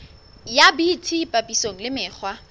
ya bt papisong le mekgwa